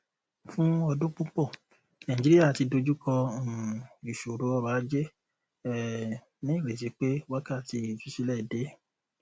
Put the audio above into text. fún ọdún púpọ nàìjíríà ti dójúkọ um ìṣòro ọrọajé um ní ìrètí pé wákàtí ìtúsílẹ dé